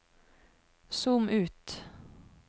zoom ut